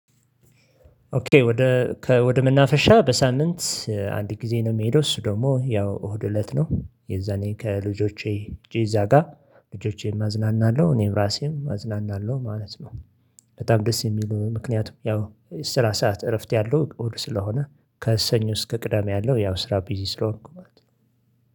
ኦኬ ወደ ወደ መናፈሻ በሳምንት አንድ ጊዜ ነው የምሄደው እሱ ደግሞ ያው እሁድ እለት ነው የዛኔ ከልጆቼ እዛ ጋር ልጆቼም አዝናናለሁ እኔም ራሴም አዝናናለሁ ማለት ነው። በጣም ደስ የሚሉ ምክንያቱም ያው ስራ ሰዓት እረፍት ያለው እሁድ ስለሆነ ከእሰኞ እስከ ቅዳሜ ያለው ያው ስራ ቢዚ ስለሆንኩ ማለት ነው